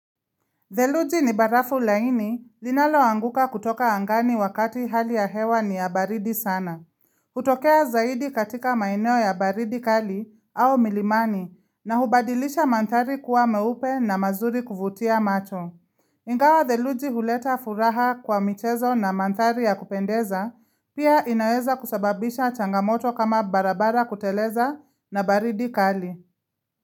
Dheluji ni barafu laini linaloanguka kutoka angani wakati hali ya hewa ni ya baridi sana. Hutokea zaidi katika maeneo ya baridi kali au milimani na hubadilisha mandhari kuwa meupe na mazuri kuvutia macho. Ingawa Dheluji huleta furaha kwa michezo na mandhari ya kupendeza pia inaweza kusababisha changamoto kama barabara kuteleza na baridi kali.